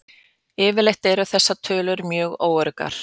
yfirleitt eru þessar tölur mjög öruggar